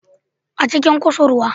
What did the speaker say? A cikin kusurwa